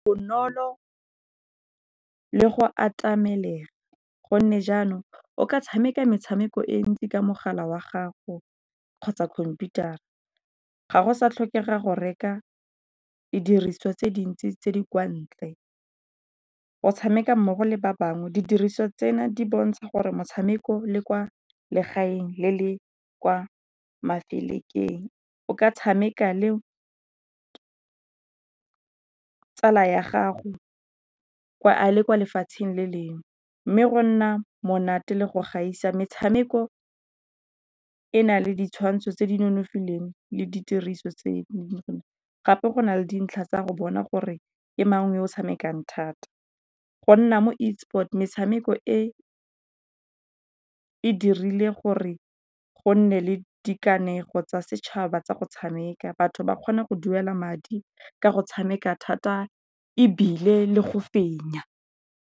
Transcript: Bonolo le go atameleng gonne jaanong o ka tshameka metshameko e ntsi ka mogala wa gago kgotsa computer-a. Ga go sa tlhokega go reka didiriswa tse dintsi tse di kwa ntle go tshameka mmogo le ba bangwe. Didiriswa tseno di bontsha gore motshameko le kwa legaeng le le kwa mafelekeng o ka tshameka le tsala ya gago a le kwa lefatsheng le lengwe. Mme go nna monate le go gaisa, metshameko e na le ditshwantsho tse di nonofileng le ditiriso tse . Gape go na le dintlha tsa go bona gore ke mang yoo tshamekang thata, go nna mo e-sport metshameko e e dirile gore go nne le dikanego tsa setšhaba tsa go tshameka. Batho ba kgona go duela madi ka go tshameka thata ebile le go fenya.